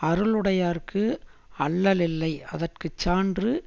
அருளுடையார்க்கு அல்லலில்லை அதற்கு சான்று